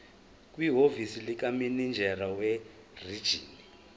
kwihhovisi likamininjela werijini